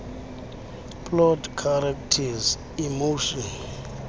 plot characters emotion